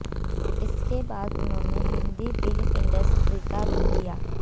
इसके बाद उन्होंने हिंदी फिल्म इंडस्ट्री का रुख किया